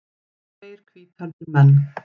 Tveir hvíthærðir menn.